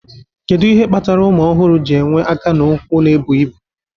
Kedu ihe kpatara ụmụ ọhụrụ ji enwe aka na ụkwụ na-ebu ibu?